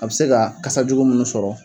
A bɛ se ka kasa jugu minnu sɔrɔ.